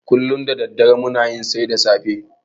Kullum da daddare muna yin sai da safe.